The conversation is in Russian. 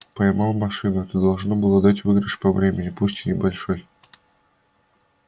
поймал машину это должно было дать выигрыш по времени пусть и небольшой